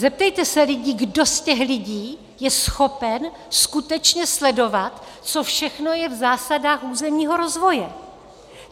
Zeptejte se lidí, kdo z těch lidí je schopen skutečně sledovat, co všechno je v zásadách územního rozvoje.